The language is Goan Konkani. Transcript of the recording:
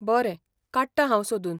बरें, काडटां हांव सोदून.